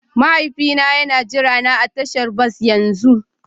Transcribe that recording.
Mahaifina yana jirana a tashar bas yanzu